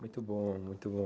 Muito bom, muito bom.